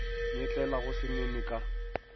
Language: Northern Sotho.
nyetlele go se nene ka